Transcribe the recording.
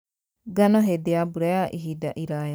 Ngano hĩndĩ ya mbura ya ihinda iraya